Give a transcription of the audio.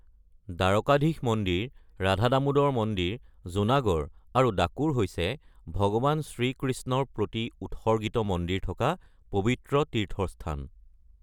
দ্বাৰকাধীশ মন্দিৰ, ৰাধা দামোদৰ মন্দিৰ, জুনাগড় আৰু ডাকোৰ হৈছে ভগৱান শ্ৰীকৃষ্ণৰ প্ৰতি উৎসৰ্গিত মন্দিৰ থকা পবিত্ৰ তীৰ্থস্থান ।